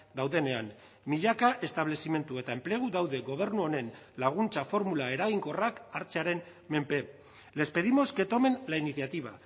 daudenean milaka establezimendu eta enplegu daude gobernu honen laguntza formula eraginkorrak hartzearen menpe les pedimos que tomen la iniciativa